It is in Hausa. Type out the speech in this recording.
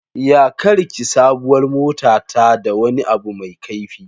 Ya karki sabuwar motata da wani abu mai kaifi.